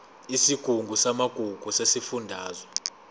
isigungu samagugu sesifundazwe